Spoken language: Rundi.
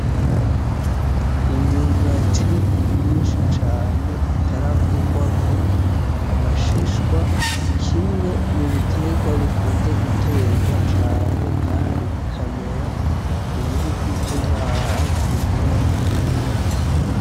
Imyumbati myinshi cane itarakugwako amashishwa, kimwe mu bitegwa bikunzwe gutegwa cane, kandi bikamera mu bihugu vyo ngaha hafi muri Afirika.